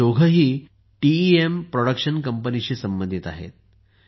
हे दोघेही TEM production कंपनीशी संबंधित आहेत